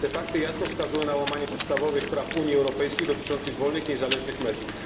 Fakty te wskazują jasno na łamanie podstawowych praw Unii Europejskiej dotyczących wolnych i niezależnych mediów.